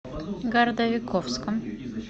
городовиковском